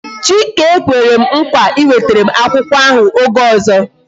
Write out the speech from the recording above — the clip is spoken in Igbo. Chike kwere m nkwa iwetere m akwụkwọ ahụ oge ọzọ